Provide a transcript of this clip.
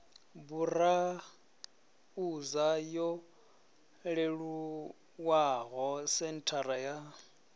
burauza yo leluwaho senthara ya